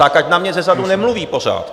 Tak ať na mě zezadu nemluví pořád.